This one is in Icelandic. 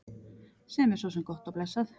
Sem er svo sem gott og blessað.